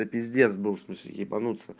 да пиздец был в смысле ебануться